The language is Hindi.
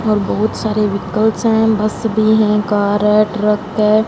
और बहोत सारे वेहीकल्स हैं बस भी हैं कार है ट्रक है।